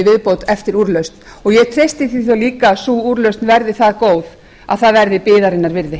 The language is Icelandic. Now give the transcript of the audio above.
viðbót eftir úrlausn ég treysti því þá líka að sú úrlausn verði það góð að það verði biðarinnar virði